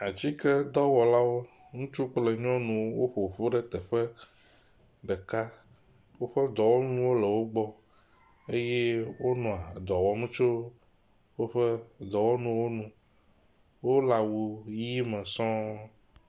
Atsike dɔwɔlawo ŋutsu kple nyɔŋu wó ƒoƒu ɖe teƒe ɖeka, wóƒe dɔwɔnuwo le wogbɔ eye wó nɔ dɔwɔm tso wóƒe dɔwɔnuwo nu wóle awu ɣi me sɔŋ